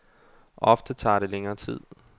Ofte tager det længere tid.